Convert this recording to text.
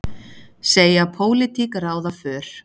Segja pólitík ráða för